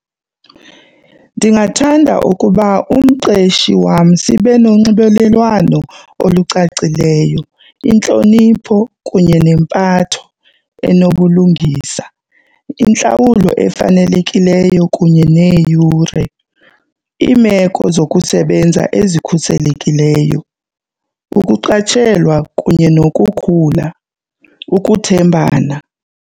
Ndingathanda ukuba umqeshi wam sibe nonxibelelwano olucacileyo, intlonipho kunye nempatho enobulungisa, intlawulo efanelekileyo kunye neeyure, iimeko zokusebenza ezikhuselekileyo, ukuqatshelwa kunye nokukhula, ukuthembana.